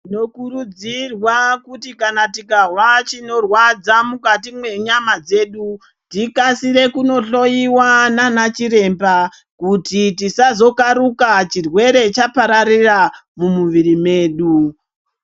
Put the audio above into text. Tinokuridzirwa kuri kana tikahwa chinorwadza mukati menyama dzedu tikasire kundohloiwa nanachiremba kuti tisazokaruka chirwere chapatarira mumuviri medu.